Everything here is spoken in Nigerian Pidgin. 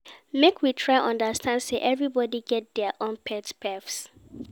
Make we try understand sey everybodi get their own pet peeves